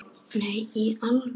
Nei, í alvöru